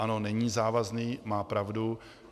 Ano, není závazný, má pravdu.